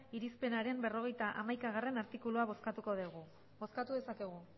irizpenaren berrogeita hamaika artikulua bozkatuko dugu bozkatu dezakegu